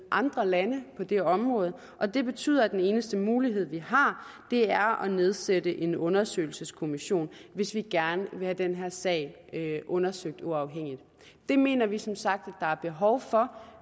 andre lande på det område og det betyder at den eneste mulighed vi har er at nedsætte en undersøgelseskommission hvis vi gerne vil have den her sag undersøgt uafhængigt det mener vi som sagt der er behov for